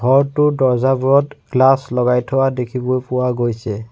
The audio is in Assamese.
ঘৰটোৰ দৰ্জাবোৰত গ্লাচ লগাই থোৱা দেখিব পোৱা গৈছে।